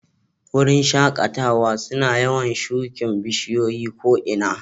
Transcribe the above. Wuraren shakatawa suna yawan shukin bishiyoyi ko ina.